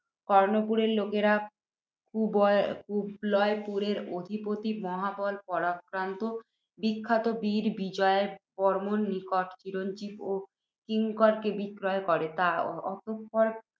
কর্ণপুরের লোকেরা কুবলয়পুরের অধিপতি মহাবল পরাক্রান্ত বিখ্যাত বীর বিজয়বর্ম্মাব নিকট চিরঞ্জীব ও কিঙ্করকে বিক্রয় করে। তৎপরে